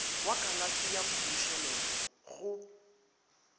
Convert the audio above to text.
wa kalafi ya mmušeletšwa go